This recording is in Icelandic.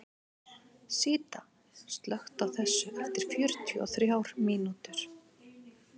Síta, slökktu á þessu eftir fjörutíu og þrjár mínútur.